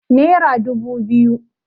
Nera dubu biyu